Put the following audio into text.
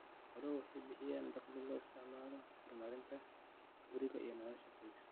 Xooluhu waxay bixiyaan dakhli loo isticmaalo horumarinta guriga iyo nolosha qoyska.